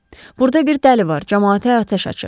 Burada bir dəli var, camaata atəş açır.